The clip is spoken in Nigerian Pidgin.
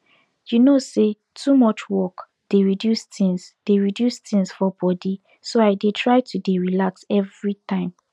you know say too much work dey reduce things dey reduce things for body so i dey try to dey relax everytime